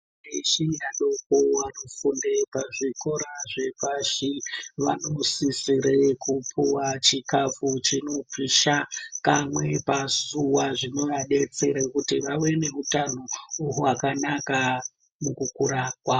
Antu eshe adoko anofunda pazvikora zvepashi vanosisire kupuwa chikafu chinopisha kamwe pazuva zvinovadetsere kuti vave nehutano hwavo hwakanaka mukukura kwavo.